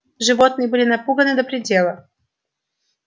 животные были напуганы до предела